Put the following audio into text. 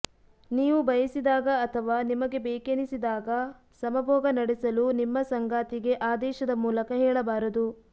ನೀವು ಬಯಸಿದಾಗ ಅಥವಾ ನಿಮಗೆ ಬೇಕೆನಿಸಿದಾಗ ಸಮಭೋಗ ನಡೆಸಲು ನಿಮ್ಮ ಸಂಗಾತಿಗೆ ಆದೇಶದ ಮೂಲಕ ಹೇಳಬಾರದು